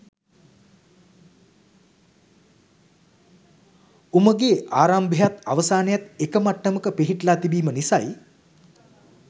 උමගෙ ආරම්භයත් අවසානයත් එක මට්ටමක පිහිටලා තිබීම නිසයි